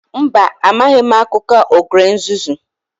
Mba, amaghị m akụkọ ogre nzuzu